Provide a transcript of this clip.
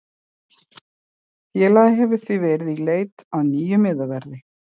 Félagið hefur því verið í í leit að nýjum miðverði.